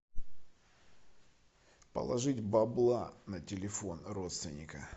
положить бабла на телефон родственника